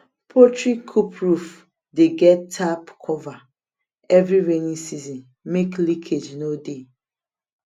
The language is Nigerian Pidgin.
poultry coop roof dey get tarp cover every rainy season make leakage nor de